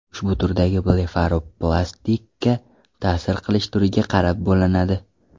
Ushbu turdagi blefaroplastika ta’sir qilish turiga qarab bo‘linadi.